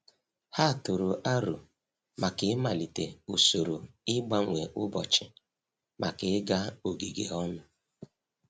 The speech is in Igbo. Ha tụrụ aro maka ị malite usoro ịgbanwe ụbọchị maka ịga ogige ọnụ.